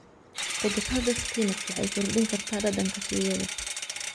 Khudradda spinach waxay kordhin kartaa dhadhanka suugada.